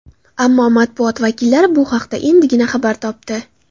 Ammo matbuot vakillari bu haqda endigina xabar topdi.